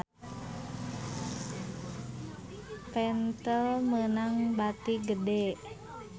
Pentel meunang bati gede